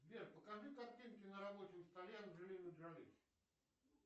сбер покажи картинки на рабочем столе анджелины джоли